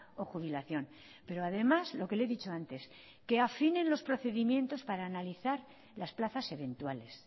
o jubilación pero además lo que le he dicho antes que afinen los procedimientos para analizar las plazas eventuales